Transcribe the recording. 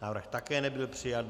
Návrh také nebyl přijat.